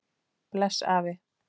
Bless afi.